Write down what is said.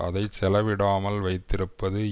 அதை செலவிடாமல் வைத்திருப்பது